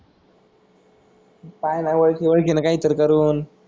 पाह ना ओळखीने ओळखीने कायतरी करून.